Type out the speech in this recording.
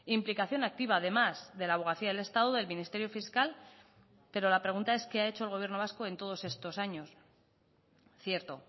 implicación activa además de la abogacía del estado del ministerio fiscal pero la pregunta es qué ha hecho el gobierno vasco en todos estos años cierto